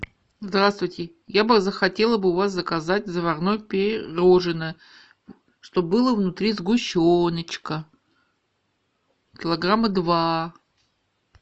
здравствуйте я бы захотела бы у вас заказать заварное пирожное чтобы было внутри сгущеночка килограмма два